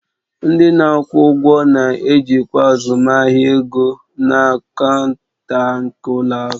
Ndị na-akwụ ụgwọ na-ejikwa azụmahịa ego na kaunta nke ụlọ akụ